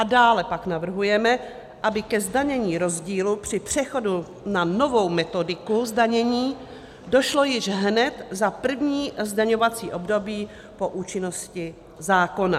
A dále pak navrhujeme, aby ke zdanění rozdílu při přechodu na novou metodiku zdanění došlo již hned za první zdaňovací období po účinnosti zákona.